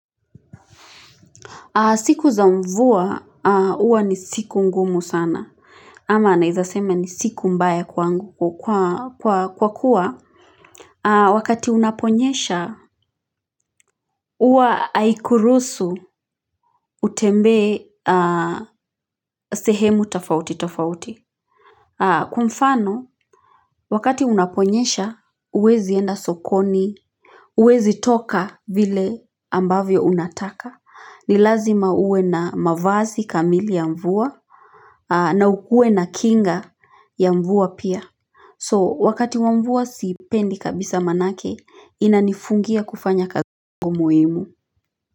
Siku za mvua uwa ni siku ngumu sana ama naheza sema ni siku mbaya kwangu kwa kuwa wakati unaponyesha uwa aikurusu utembe sehemu tafauti tafauti. Kwa mfano wakati unaponyesha huwezi enda sokoni uwezi toka vile ambavyo unataka. Ni lazima ue na mavazi kamili ya mvua na ukue na kinga ya mvua pia so wakati wa mvua siipendi kabisa manake ina nifungia kufanya kagungo muhimu.